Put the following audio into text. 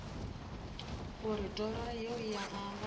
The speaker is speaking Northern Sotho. gore toro yeo ya gagwe